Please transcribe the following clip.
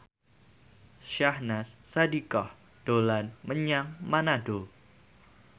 Syahnaz Sadiqah dolan menyang Manado